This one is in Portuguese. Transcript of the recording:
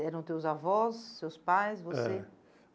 Eram teus avós, seus pais, você? É